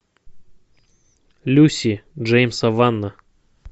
люси джеймса вана